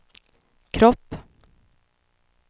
kropp